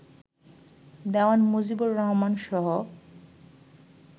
Dewan Mujibur রহমানসহ